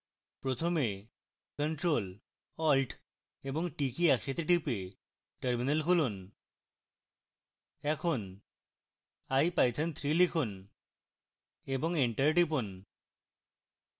প্রথমে ctrl + alt + t কী একসাথে টিপে terminal খুলুন